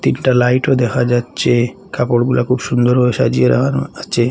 একটা লাইটও দেখা যাচ্ছে কাপড়গুলা খুব সুন্দর ভাবে সাজিয়ে রাখানো আছে।